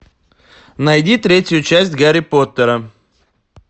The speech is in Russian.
найди третью часть гарри поттера